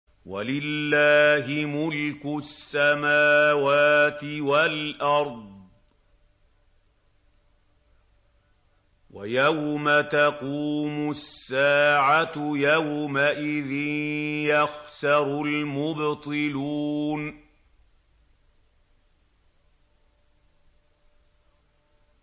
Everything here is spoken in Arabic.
وَلِلَّهِ مُلْكُ السَّمَاوَاتِ وَالْأَرْضِ ۚ وَيَوْمَ تَقُومُ السَّاعَةُ يَوْمَئِذٍ يَخْسَرُ الْمُبْطِلُونَ